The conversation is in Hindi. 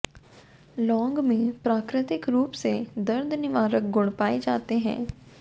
लौंग में प्राकृतिक रूप से दर्द निवारक गुण पाए जाते हैं